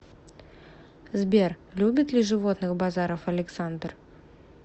сбер любит ли животных базаров александр